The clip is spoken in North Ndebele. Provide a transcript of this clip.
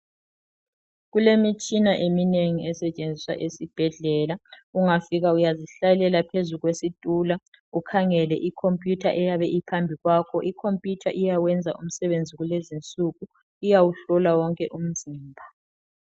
Kulemitshina eminengi esetshenziswa esibhedlela ungafika uyazihlalela phezu kwesitulo ukhangele ikhompiyutha eyabe iphambi kwakho. Ikhompiyutha iyawenza umsebenzi kulezinsuku iyawuhlola wonke umzimba.